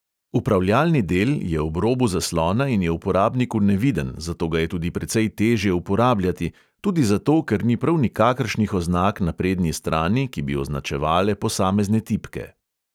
Upravljalni del je ob robu zaslona in je uporabniku neviden, zato ga je tudi precej teže uporabljati – tudi zato, ker ni prav nikakršnih oznak na prednji strani, ki bi označevale posamezne tipke.